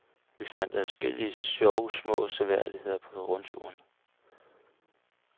Vi fandt adskillige sjove små seværdigheder på rundturen.